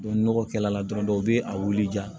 ni nɔgɔ kɛla dɔrɔn u be a wuli ja